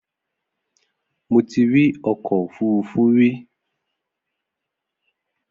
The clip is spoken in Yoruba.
Mo ti rí ọkọ òfúrufú rí.